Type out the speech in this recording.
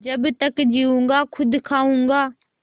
जब तक जीऊँगा खुद खाऊँगा